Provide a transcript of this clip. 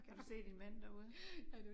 Kan du se din mand derude?